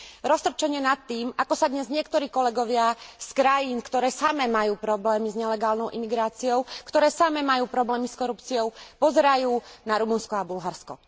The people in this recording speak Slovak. Roztrpčenie nad tým, ako sa dnes niektorí kolegovia z krajín, ktoré samé majú problémy s nelegálnou imigráciou, ktoré samé majú problémy s korupciou, pozerajú na Rumunsko a Bulharsko.